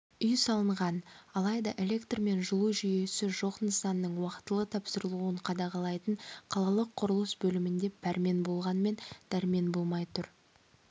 үй салынған алайда электр мен жылу жүйесі жоқ нысанның уақытылы тапсырылуын қадағалайтын қалалық құрылыс бөлімінде пәрмен болғанмен дәрмен болмай тұр